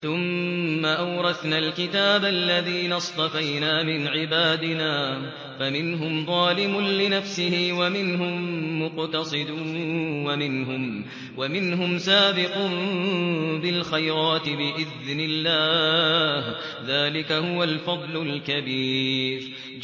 ثُمَّ أَوْرَثْنَا الْكِتَابَ الَّذِينَ اصْطَفَيْنَا مِنْ عِبَادِنَا ۖ فَمِنْهُمْ ظَالِمٌ لِّنَفْسِهِ وَمِنْهُم مُّقْتَصِدٌ وَمِنْهُمْ سَابِقٌ بِالْخَيْرَاتِ بِإِذْنِ اللَّهِ ۚ ذَٰلِكَ هُوَ الْفَضْلُ الْكَبِيرُ